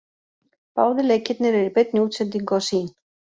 Báðir leikirnir eru í beinni útsendingu á Sýn.